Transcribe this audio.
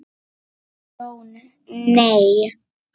Jón: Nei.